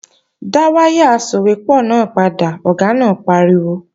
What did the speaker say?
Dá wáyà asòwépọ̀ náà padà, Ọ̀gá náà pariwo!